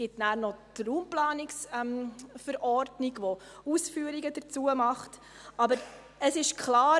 Es gibt dann noch die Raumplanungsverordnung (RPV), die Ausführungen dazu macht, aber es ist klar: